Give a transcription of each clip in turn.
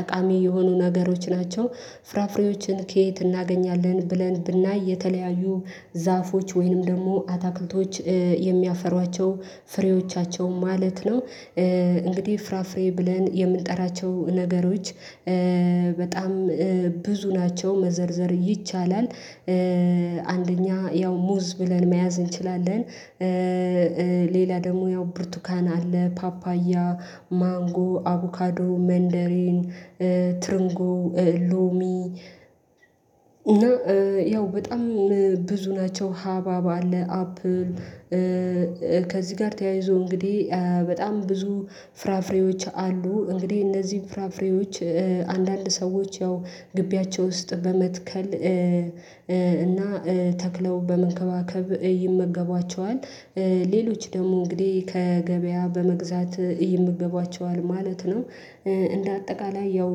ጠቃሚ የሆኑ ነገሮች ናቸው ፍራፍሬዎችን ከየት እናገኛለን ብለን ብናይ የተለያዩ ዛፎች ወይንም ደግሞ አታክልቶች የሚያፈሯቸው ፍሬዎቻቸው ማለት ነው። እንግዲህ ፍራፍሬ ብለን የምንጠራቸው ነገሮች በጣም ብዙ ናቸው መዘርዘር ይቻላል አንደኛ ያው ሙዝ ብለን መያዝ እንችላለን ሌላ ደግሞ ያው ብርቱካን አለ ፓፓያ ማንጎ አቮካዶ መንደሬን ትርንጎ ሎሚ እና ያው በጣም ብዙ ናቸው ሀባብ አለ አፕል ከዚህ ጋር ተያይዞ እንግዲህ በጣም ብዙ ፍራፍሬዎች አሉ እንግዲህ እነዚህን ፍራፍሬዎች አንዳንድ ሰዎች ያው ግቢያቸው ውስጥ በመትከል እና ተክለው በመንከባከብ ይመገቧቸዋል ሌሎች ደግሞ እንግዲህ ከገበያ በመግዛት ይምገባቸዋል ማለት ነው እንደ አጠቃላይ ያው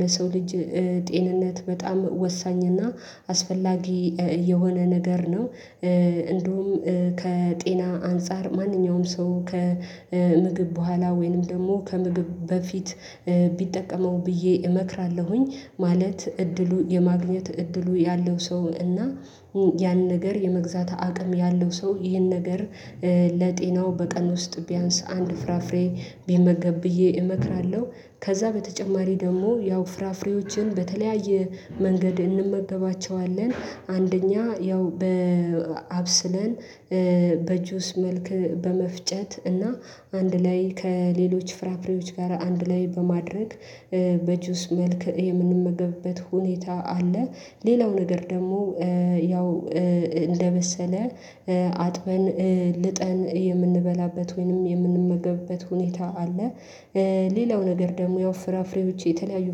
ለሰው ልጅ ጤንነት በጣም ወሳኝ እና አስፈላጊ የሆነ ነገር ነው። እንደውም ከጤና አንፃር ማንኛውም ሰው ከምግብ በኋላ ወይንም ደግሞ ከምግብ በፊት ቢጠቀመው ብዬ እመክራለሁኝ ማለት እድሉ የማግኘት እድሉ ያለው ሰው እና ያን ነገር የመግዛት አቅም ያለው ሰው ይሄን ነገር ለጤናው በቀን ውስጥ ቢያንስ አንድ ፍራፍሬ ቢመገብ ብዬ እመክራለሁ ከዛ በተጨማሪ ደግሞ ያው ፍራፍሬዎችን በተለያየ መንገድ እንመበባቸዋለን አንደኛ ያው በአብስለን በጁስ መልክ በመፍጨት እና አንድ ላይ ከሌሎች ፍራፍሬዎች ጋር አንድ ላይ በማድረግ በጁስ መልክ የምንመገብበት ሁኔታ አለ ሌላው ነገር ደግሞ ያው እንደበሰለ አጥበን ልጠን የምንበላበት ወይንም የምንመገበት ሁኔታ አለ ሌላው ነገር ደግሞ ያው ፍራፍሬዎች የተለያዩ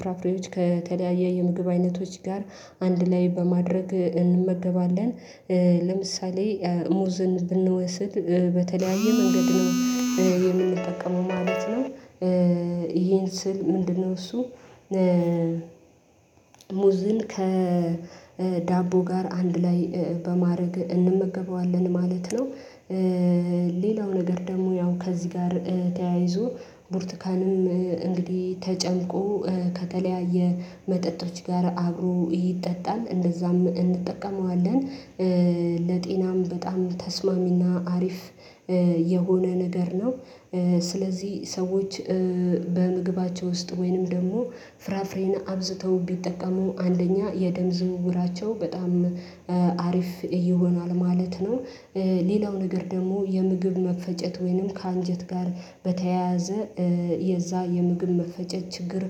ፍራፍሬዎች ከተለያየ የምግብ አይነቶች ጋር አንድ ላይ በማድረግ እንመገባለን ለምሳሌ ሙዝን ብንወስድ በተለያየ መንገድ ነው የምንጠቀመው ማለት ነው ይሄን ስል ምንድነው እሱ ሙዝን ከዳቦ ጋር አንድ ላይ በማድረግ እንመገበዋለን ማለት ነው። ሌላው ነገር ደግሞ ያው ከዚህ ጋር ተያይዞ ቡርቱካንም እንግዲህ ተጨምቆ ከተለያየ መጠጥርች ጋር አብሮ ይጠጣል እንደዛም እንጠቀመዋለን ለጤናም በጣም ተስማሚና አሪፍ የሆነ ነገር ነው። ስለዚህ ሰዎች በምግባቸው ውስጥ ወይንም ደግሞ ፍራፍሬን አብዝተው ቢጠቀሙ አንደኛ የደም ዝውውራቸው በጣም አሪፍ እየሆኗል ማለት ነው። ሌላው ነገር ደግሞ የምግብ መፈጨት ወይንም ከአንጀት ጋር በተያያዘ የዛ የምግብ መፈጨት ችግር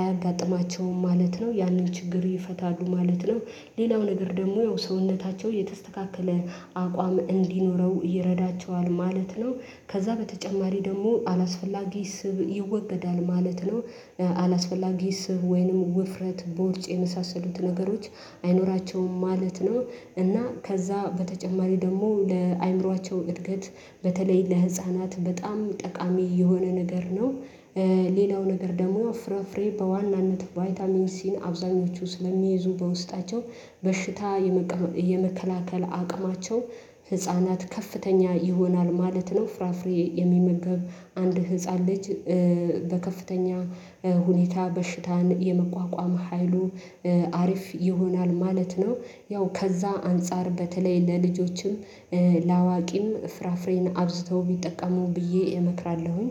አያጋጥማቸውም ማለት ነው ያንን ችግር ይፈታሉ ማለት ነው ሌላው ነገር ደግሞ ሰውነታቸው የተስተካከለ አቋም እንዲኖረው ይረዳቸዋል ማለት ነው ከዛ በተጨማሪ ደግሞ አላስፈላጊ ስብ ይወገዳል ማለት ነው። አላስፈላጊ ስብ ወይንም ውፍረት በውርጭ የመሳሰሉት ነገሮች አይኖራቸውም ማለት ነው እና ከዛ በተጨማሪ ደግሞ ለአእምሮአቸው እድገት በተለይ ለህፃናት በጣም ጠቃሚ የሆነ ነገር ነ። ሌላው ነገር ደግሞ ፍራፍሬ በዋናነት ቫይታሚን ሲን አብዛኞቹ ስለሚይዙ በውስጣቸው በሽታ የመከላከል አቅማቸው ህፃናት ከፍተኛ ይሆናል ማለት ነው ፍራፍሬ የሚመገብ አንድ ህፃን ልጅ በከፍተኛ ሁኔታ በሽታን የመቋቋም ሀይሉ አሪፍ ይሆናል ማለት ነው። ያው ከዛ አንፃር በተለይ ለልጆችም ለአዋቂም ፍራፍሬን አብዝተው ቢጠቀሙ ብዬ እመክራለሁኝ።